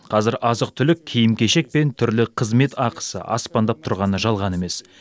қазір азық түлік киім кешек пен түрлі қызмет ақысы аспандап тұрғаны жалған емес